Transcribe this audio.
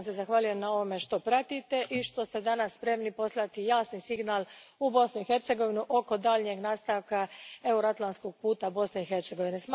Zahvaljujem vam na tome što pratite i što ste danas spremni poslati jasni signal u Bosnu i Hercegovinu oko daljnjeg nastavka euro atlantskog puta Bosne i Hercegovine.